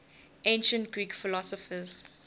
ancient greek philosophers